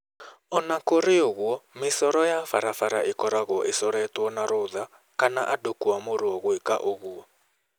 O na kũrĩ ũguo, mĩcoro ya barabara ĩkoragwo icoretwo na rũtha kana andũ kũamũrwa gwĩka ũguo.